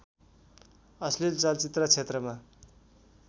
अश्लिल चलचित्र क्षेत्रमा